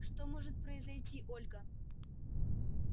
что может произойти ольга